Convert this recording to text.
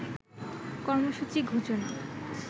কর্মসূচি ঘোষণা